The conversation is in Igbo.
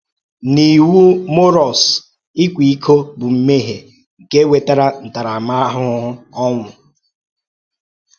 N’Iwu Mọ́rụs, ịkwa iko bụ mmehie nke nwere ntaramahụhụ ọnwụ.